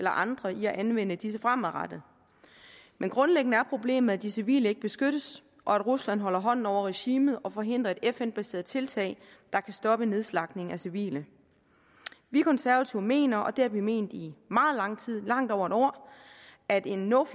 og andre i at anvende disse fremadrettet men grundlæggende er problemet at de civile ikke beskyttes og at rusland holder hånden over regimet og forhindrer et fn baseret tiltag der kan stoppe nedslagtningen af civile vi konservative mener og det har vi ment i meget lang tid i langt over en år at en no